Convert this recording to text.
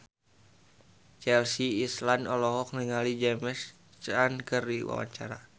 Chelsea Islan olohok ningali James Caan keur diwawancara